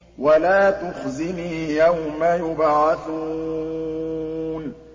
وَلَا تُخْزِنِي يَوْمَ يُبْعَثُونَ